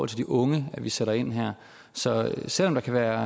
til de unge vi sætter ind her så selv om der kan være